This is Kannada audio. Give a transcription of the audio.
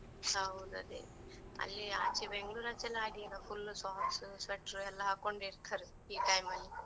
ಹೌದ್ ಅದೆ, ಅಲ್ಲಿ ಆಚೇ ಬೆಂಗ್ಳೂರ್ ಆಚೇ ಎಲ್ಲ ಹಾಗೆ ಈಗ, full socks ,sweater ಎಲ್ಲ ಹಾಕೊಂಡೆ ಇರ್ತರೆ ಈ time ಅಲ್ಲಿ.